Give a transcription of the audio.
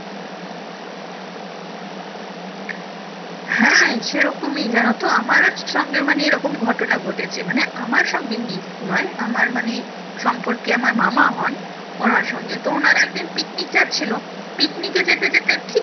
হ্যাঁ সেরকমই জানো তো আমার ও সঙ্গে মানে এরকম ঘটনা ঘটেছে মানে আমার সঙ্গে নয় আমার মানে সম্পর্কে আমার মামা হন ওনার সঙ্গে তো ওনারা একদিন picnic যাচ্ছিলো picnic এ যেতে যেতে ঠিক